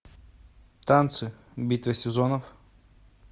танцы битва сезонов